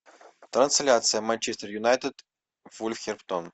трансляция манчестер юнайтед вулверхэмптон